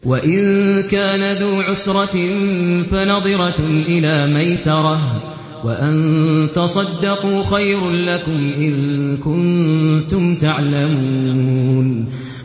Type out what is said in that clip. وَإِن كَانَ ذُو عُسْرَةٍ فَنَظِرَةٌ إِلَىٰ مَيْسَرَةٍ ۚ وَأَن تَصَدَّقُوا خَيْرٌ لَّكُمْ ۖ إِن كُنتُمْ تَعْلَمُونَ